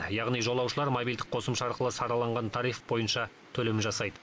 яғни жолаушылар мобильдік қосымша арқылы сараланған тариф бойынша төлем жасайды